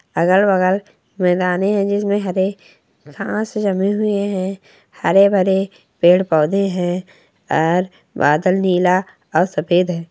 अगल-बगल मैदाने है जिसमें हरे घास जमे हुए हैं हरे भरे पेड़ पौधे हैं और बादल नीला और सफेद है।